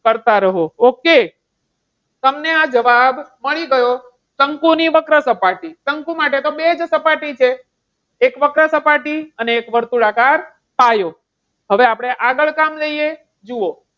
કરતા રહો. okay તમને આ જવાબ મળી ગયો. શંકુની વક્ર સપાટી. શંકુ માટે તો બે જ સપાટી છે. એક વક્ર સપાટી અને એક વર્તુળાકાર પાયો. હવે આપણે આગળ કામ લઈએ જુઓ.